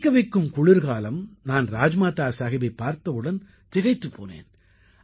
விறைக்க வைக்கும் குளிர்காலம் நான் ராஜ்மாதா சாஹிபைப் பார்த்தவுடனே திகைத்துப் போனேன்